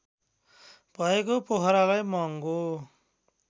भएको पोखरालाई महङ्गो